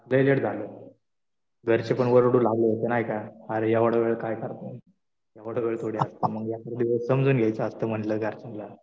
लय लेट झालं. घरचे पण ओरडू लागले होते ना. नाही का. अरे एवढा वेळ काय करताय? एवढा वेळ थोडी असतो. एखाद्या वेळेस समजून घ्यायचं असतं म्हणलं घरच्यांना.